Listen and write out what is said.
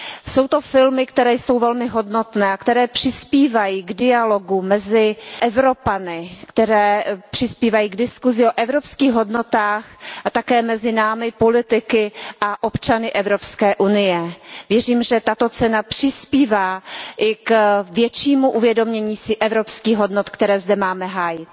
Jsou to filmy, které jsou velmi hodnotné a které přispívají k dialogu mezi Evropany, které přispívají k diskusi o evropských hodnotách také mezi námi, politiky a občany Evropské unie. Věřím, že tato cena přispívá i k většímu uvědomění si evropských hodnot, které zde máme hájit.